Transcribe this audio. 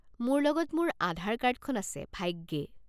মোৰ লগত মোৰ আধাৰ কাৰ্ডখন আছে, ভাগ্যে।